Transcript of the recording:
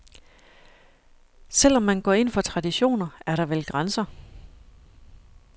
Selv om man går ind for traditioner, er der vel grænser.